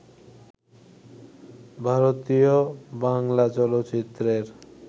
ভারতীয় বাংলা চলচ্চিত্রের